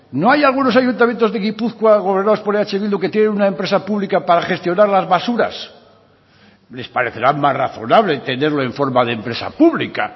no hay algunos ayuntamientos de gipuzkoa gobernados por eh bildu que tienen una empresa pública para gestionar las basuras les parecerá más razonable tenerlo en forma de empresa pública